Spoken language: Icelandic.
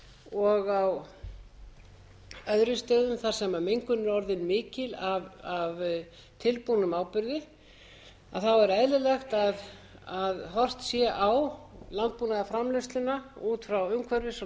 og á öðrum stöðum þar sem mengun er orðin mikil af tilbúnum áburði er eðlilegt að horft sé á landbúnaðarframleiðsluna út frá umhverfis og